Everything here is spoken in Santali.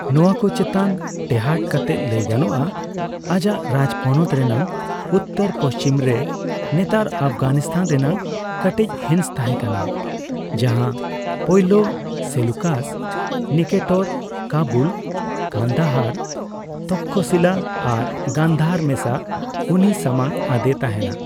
ᱱᱚᱣᱟᱠᱚ ᱪᱮᱛᱟᱱ ᱴᱮᱸᱦᱟᱰ ᱠᱟᱛᱮ ᱞᱟᱹᱭ ᱜᱟᱱᱚᱜᱼᱟ, ᱟᱡᱟᱜ ᱨᱟᱡᱽ ᱯᱚᱱᱚᱛ ᱨᱮᱱᱟᱜ ᱩᱛᱛᱚᱨᱼᱯᱚᱪᱷᱤᱢ ᱨᱮ ᱱᱮᱛᱟᱨ ᱟᱯᱷᱜᱟᱱᱤᱥᱛᱟᱱ ᱨᱮᱱᱟᱜ ᱠᱟᱴᱤᱪ ᱦᱤᱸᱥ ᱛᱟᱦᱮᱸ ᱠᱟᱱᱟ ᱡᱟᱦᱟ ᱯᱟᱹᱭᱞᱟᱹ ᱥᱮᱞᱩᱠᱟᱥ ᱱᱤᱠᱮᱴᱚᱨ ᱠᱟᱹᱵᱩᱞ, ᱠᱟᱱᱫᱟᱦᱟᱨ, ᱛᱚᱠᱠᱷᱚᱥᱤᱞᱟᱹ ᱟᱨ ᱜᱟᱱᱫᱷᱟᱨ ᱢᱮᱥᱟ ᱩᱱᱤᱭ ᱥᱟᱢᱟᱝ ᱟᱫᱮ ᱛᱟᱦᱮᱱᱟ ᱾